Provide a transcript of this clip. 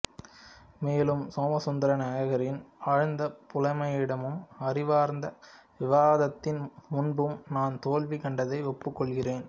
மேலும் சோமசுந்தர நாயகரின் ஆழ்ந்த புலமையிடமும் அறிவார்ந்த விவாதத்தின் முன்பும் நான் தோல்வி கண்டதை ஒப்புக் கொள்கிறேன்